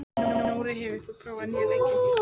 Nóri, hefur þú prófað nýja leikinn?